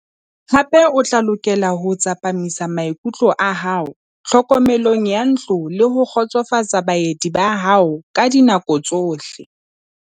Hape o tla lokela ho tsepamisa maikutlo a hao tlhokomelong ya ntlo le ho kgotsofatsa baeti ba hao ka dinako tsohle.